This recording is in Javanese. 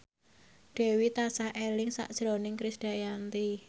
Dewi tansah eling sakjroning Krisdayanti